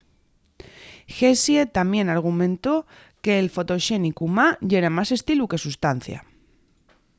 hsieh tamién argumentó que’l fotoxénicu ma yera más estilu que sustancia